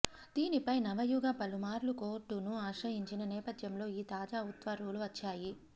దీనిపై నవయుగ పలుమార్లు కోర్టును ఆశ్రయించిన నేపథ్యంలో ఈ తాజా ఉత్తర్వులు వచ్చాయి